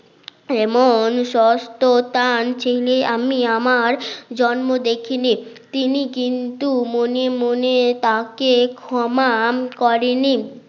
এমন সত্যতা আনছিলি আমি আমার জন্ম দেখিনি তিনি কিন্তু মনে মনে তাকে ক্ষমা করেনি